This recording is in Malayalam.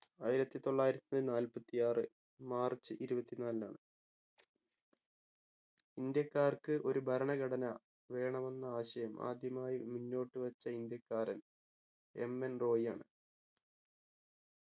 ആയിരത്തി തൊള്ളായിരത്തി നാൽപ്പത്തി ആറ് മാർച്ച് ഇരുപത്തിനാലിനാണ് ഇന്ത്യക്കാർക്ക് ഒരു ഭരണഘടന വേണമെന്ന ആശയം ആദ്യമായി മുന്നോട്ടു വെച്ച ഇന്ത്യക്കാരൻ MN റോയ് ആണ്.